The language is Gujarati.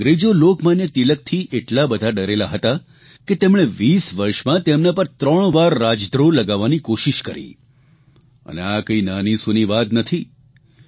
અંગ્રેજો લોકમાન્ય તિલકથી એટલા બધા ડરેલા હતા કે તેમણે 20 વર્ષંમાં તેમના પર 3 વાર રાજદ્રોહ લગાવવાની કોશીષ કરી અને આ કાંઇ નાનીસૂની વાત નથી